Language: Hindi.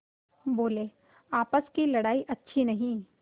बोलेआपस की लड़ाई अच्छी नहीं